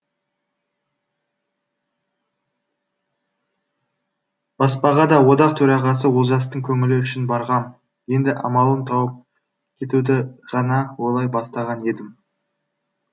баспаға да одақ төрағасы олжастың көңілі үшін барғам енді амалын тауып кетуді ғана ойлай бастаған едім